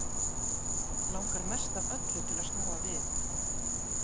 Langar mest af öllu til að snúa við.